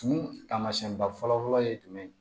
Tumu taamasiyɛnba fɔlɔ fɔlɔ ye jumɛn ye